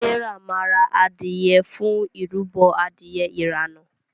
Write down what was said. Serah ma rà adìye fún ìrúbo Adìyẹ irana.